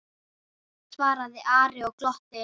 svaraði Ari og glotti.